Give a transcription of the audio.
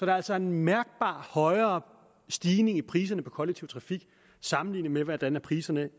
er altså en mærkbar højere stigning i priserne på kollektiv trafik sammelignet med hvordan priserne